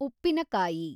ಉಪ್ಪಿನಕಾಯಿ